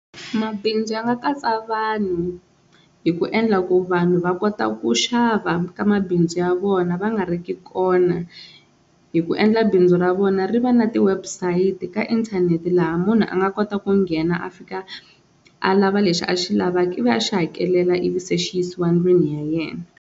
Mabindzu ya nga katsa vanhu hi ku endla ku vanhu va kota ku xava ka mabindzu ya vona va nga ri ki kona hi ku endla bindzu ra vona ri va na ti-website ka inthanete laha munhu a nga kota ku nghena a fika a lava lexi a xi lavaka i va a xi hakelela ivi se xi yisiwa ndlwini ya yena.